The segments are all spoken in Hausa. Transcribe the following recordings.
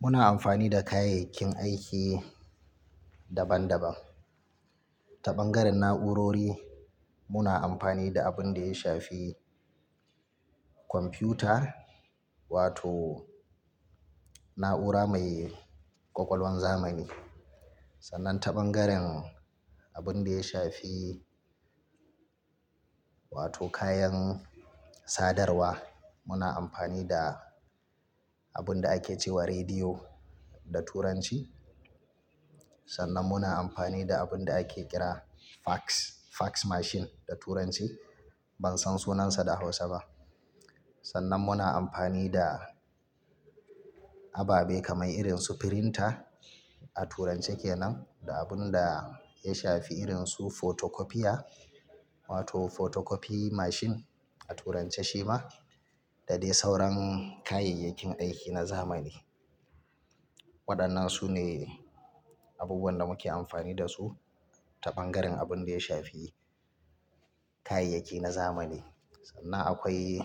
Muna amfani da kayayyakin aiki daban-daban. Ta bangaren na'urori muna amfani da abin da ya shafi kwamfiyuta wato na'ura mai ƙwaƙwalwan zamani. Sannan ta bangaren abin da ya shafi wato kayan sadarwa muna amfani da abin da ake cewa rediyo da turanci. Sannan muna amfani da abin da ake kira fax, fax machine da turanci, ban san sunansa da hausa ba. Sannan muna amfani da ababe kamar irin su printer a turance kenan da abun da ya shafi irin su photocopiya wato photocopy machine a turance shi ma da dai sauran kayayyakin aiki na zamani. Waɗannan su ne abubuwan da muke amfani da su ta bangaren abin da ya shafi kayayyaki na zamani. Sannan akwai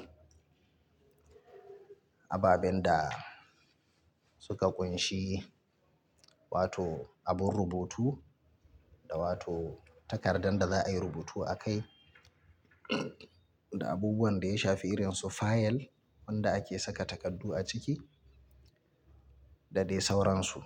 ababen da suka ƙunshi wato abun rubutu da wato takardan da za a yi rubutu a kai da abubuwan da ya shafi irin su fayil wanda ake saka takardu a ciki da dai sauransu.